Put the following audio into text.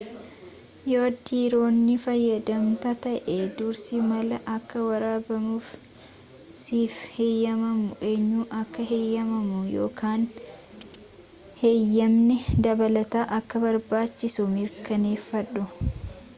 yoo diroonii fayyadamta ta'e dursii maal akka waraabuuf siif heyyemamu eenyu akka heyyamu yookaan heyyamni dabalataa akka barbaachisu mirkaneeffadhu